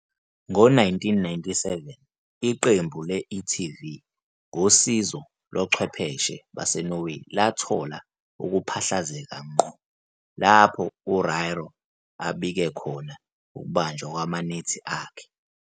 Ngo-1997 iqembu le-TV, ngosizo lochwepheshe baseNorway lathola ukuphahlazeka ngqo lapho "uRairo abike" khona ukubanjwa kwamanethi akhe.